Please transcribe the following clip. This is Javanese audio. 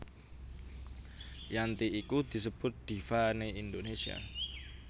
Yanti iku disebut diva né Indonesia